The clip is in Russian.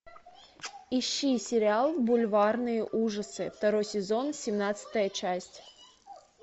ищи сериал бульварные ужасы второй сезон семнадцатая часть